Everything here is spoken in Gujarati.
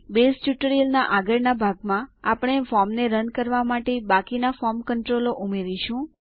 બેઝ ટ્યુટોરીયલના આગળના ભાગમાં આપણે ફોર્મને રન કરવા માટે બાકીના ફોર્મ ક્ન્ત્રોલો ઉમેરીશું